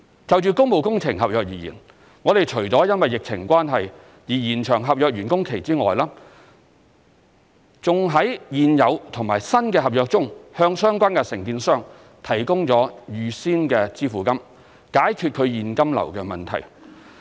就工務工程合約而言，我們除了因疫情關係而延長合約完工期外，還在現有和新的合約中向相關承建商提供預先支付金，解決其現金流問題。